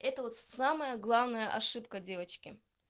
это вот самая главная ошибка девочки